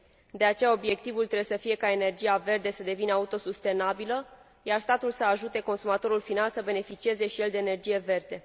De aceea, obiectivul trebuie să fie ca energia verde să devină autosustenabilă, iar statul să ajute consumatorul final să beneficieze și el de energie verde.